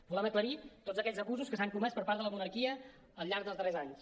volem aclarir tots aquells abusos que s’han comès per part de la monarquia al llarg dels darrers anys